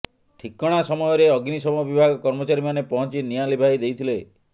ଠିକଣା ସମୟରେ ଅଗ୍ନିଶମ ବିଭାଗ କର୍ମଚାରୀମାନେ ପହଞ୍ଚି ନିଆଁ ଲିଭାଇ ଦେଇଥିଲେ